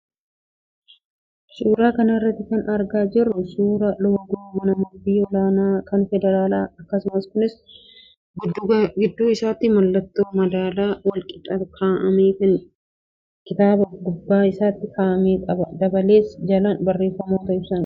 Suuraa kana irraa kan argaa jirru suuraa loogoo mana murtii olaanaa kan federaalaa agarsiisa. Kunis gidduu isaatti mallattoo madaalaa wal qixa kaa'amee fi kitaaba gubbaa isaatti kaa'ame qaba. Dabalees jalaan barreeffamoota ibsan qaba.